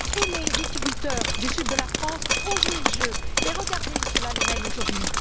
Mes viticulteurs du sud de la France ont joué le jeu. Et regardez où cela les mène aujourd'hui!